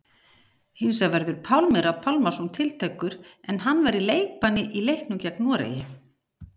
Hinsvegar verður Pálmi Rafn Pálmason tiltækur en hann var í leikbanni í leiknum gegn Noregi.